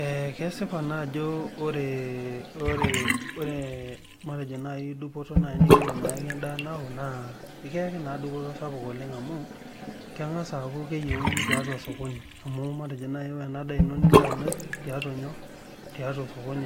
Ee kesipa naa ajo ore matejo nai dupoto nikiyaki endaa nao na ekiyaki dupoto sapuk amu kengasa aaku keyieuni tiatu osokoni amu ore nai enadaa ino niloito amir tiatua